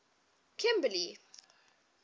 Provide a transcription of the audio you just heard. kimberly